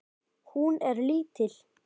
Hún er lítil.